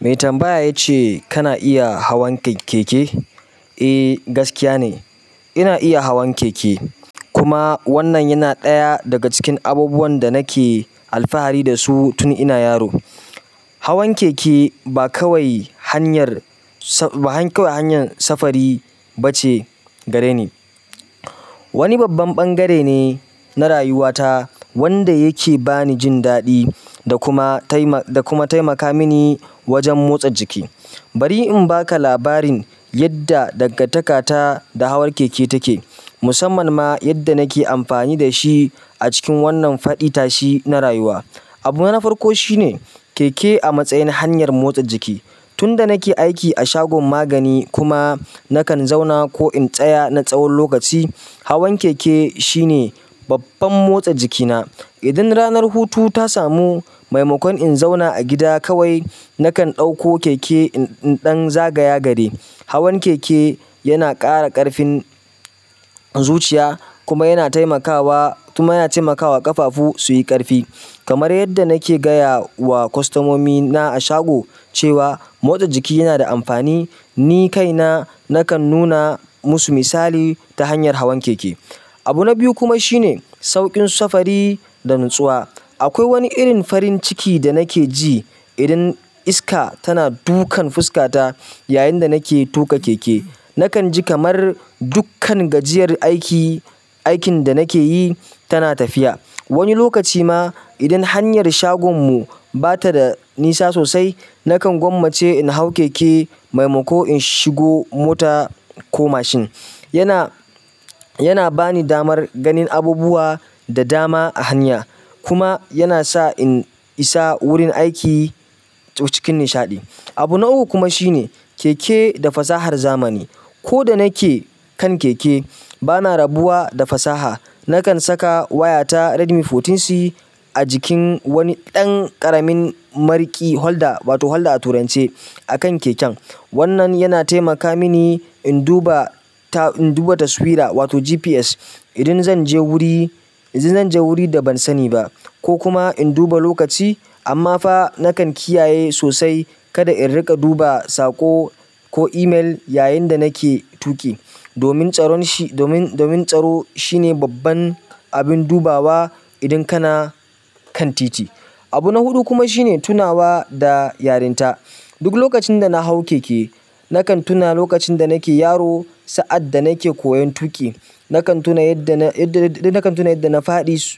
Mai tambaya ya ce kana iya hawan keke? Eh, gaskiya ne. Ina iya hawan keke, kuma wannan yana ɗaya daga cikin abubuwan da nake alfahari dasu tun ina yaro. Hawan keke ba kawai hanyar sufuri bace gareni. Wani babban ɓangare ne na rayuwata wanda yake ba ni jin daɗi, da kuma taima, da kuma taimaka mini wajen motsa jiki. Bari in baka labarin yadda dangantaka ta da hawan keke take, musamman ma yadda nake amfani da shi a cikin wannan faɗi tashi na rayuwa. Abu na farko shi ne, keke a matsayin hanyar motsa jiki. Tun da nake aiki a shagon magani kuma nakan zauna ko in tsaya na tsawon lokaci, hawan keke shine babban motsa jikina. Idan ranar hutu ta samu maimakon in zauna a gida kawai, nakan ɗauko keke in ɗan zagaya gari. Hawan keke yana ƙara ƙarfin zuciya kuma yana taimakawa-kuma yana taimakawa ƙafafu su yi ƙarfi. Kamar yadda nake gaya wa kwastamomi na a shago cewa motsa jiki yana da amfani, ni kaina nakan nuna musu misali ta hanyar hawan keke. Abu na biyu kuma shine sauƙin sufuri da natsuwa. Akwai wani irin farin ciki da nake ji idan iska tana dukan fuskata yayin da nake tuƙa keke. Nakan ji kamar dukkan gajiyar aiki-aikin da nake yi tana tafiya. Wani lokaci ma idan hanyar shagon mu ba ta da nisa sosai, nakan gwammace in hau keke maimako in shigo mota ko mashin. Yana, yana ba ni damar ganin abubuwa da dama a hanya kuma yana sa in isa wurin aiki cikin nishaɗi. Abu na uku kuma shine keke da fasahar zamani. Ko da nake kan keke, bana rabuwa da fasaha. Nakan saka wayata Redmi sha huɗu C a jikin wani ɗan ƙaramin maruƙi holder wato 'holder' a turance a kan keken. Wannan yana taimaka mini in duba ta-in duba taswira wato GPS idan zan je wuri, idan zan je wuri da ban sani ba, ko kuma in duba lokaci. Amma fa nakan kiyaye sosai kada in riƙa duba saƙo ko email yayin da nake tuƙi. Domin tsaro domin, domin tsaro shi ne babban abin dubawa idan kana kan titi. Abu na huɗu kuma shi ne, tunawa da yarinta. Duk lokacin da na hau keke, nakan tuna lokacin da nake yaro sa'ad da nake koyon tuƙi. Nakan tuna yadda na-yadda na-yadda nafaɗi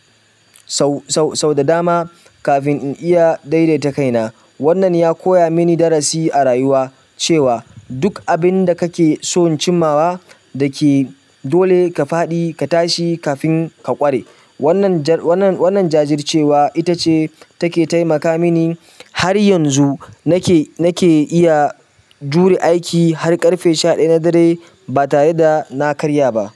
sau, sau, sau da dama kafin in iya daidaita kaina. Wannan ya koya mini darasi a rayuwa cewa duk abin da kake so in cimmawa da ke dole ka faɗi ka tashi kafin ka ƙware. Wannan jajircewa ita ce take taimaka min har yanzu nake iya jure aiki har ƙarfe sha ɗaya na dare ba tare da na karya ba.